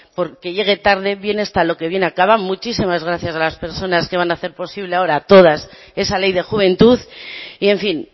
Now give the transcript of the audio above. porque llegue tarde bien está lo que bien acaba muchísimas gracias a las personas que van a hacer posible ahora todas esa ley de juventud y en fin